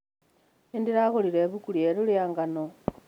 Nĩndĩragũrĩre ibuku rĩeru rĩa ngano